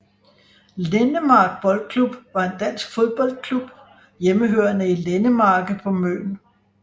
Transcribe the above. Lendemark Boldklub var en dansk fodboldklub hjemmehørende i Lendemarke på Møn